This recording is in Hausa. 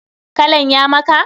Kalan ya maka?